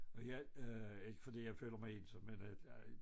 Og jeg øh ikke fordi jeg føler mig ensom men øh jeg